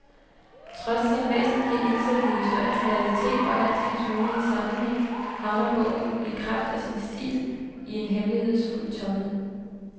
Trods sin væsentlige indsigt i historiens realitet og altings mulige sammenhæng, havner bogen i kraft af sin stil, i en hemmelighedsfuld tomhed.